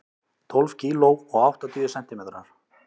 Tólf kíló og áttatíu sentimetrar.